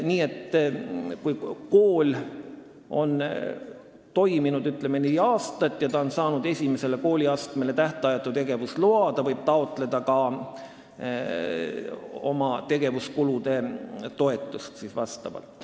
Nii et kui kool on toiminud, ütleme, neli aastat ja on saanud esimesele kooliastmele tähtajatu tegevusloa, siis ta võib taotleda ka tegevuskulutoetust.